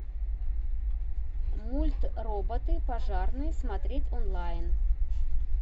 мульт роботы пожарные смотреть онлайн